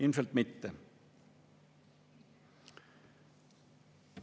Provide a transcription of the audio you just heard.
Ilmselt mitte.